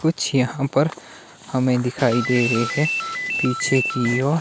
कुछ यहां पर हमें दिखाई दे रहे है पीछे की ओर--